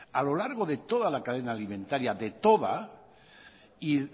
a lo largo de toda la cadena alimentaria y